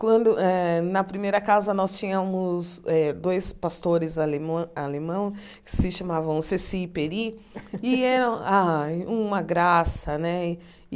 Quando eh, na primeira casa, nós tínhamos eh dois pastores alemõe alemão, que se chamavam Ceci e Peri, e eram ai uma graça, né?